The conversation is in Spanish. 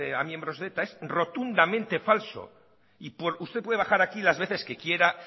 a miembros de eta es rotundamente falso y usted puede bajar aquí las veces que quiera